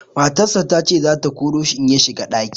Matarsa ta ce za ta koro shi in ya shiga ɗaki.